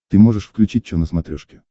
ты можешь включить че на смотрешке